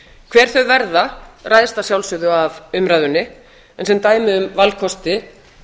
hver þau verða ræðst af sjálfsögðu af umræðunni en sem dæmi um valkosti